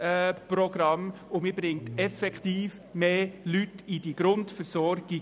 Man bringt damit effektiv mehr Personen in die Grundversorgung.